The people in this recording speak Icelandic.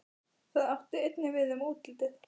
Það átti einnig við um útlitið.